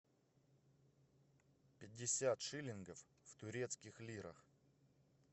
пятьдесят шиллингов в турецких лирах